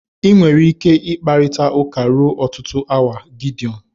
Ị nwere ike ịkparịta ụka ruo ọtụtụ awa Gideọn